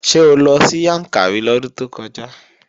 Ṣé o lọ sí Yàǹkàrí lọ́dún tó kọjá?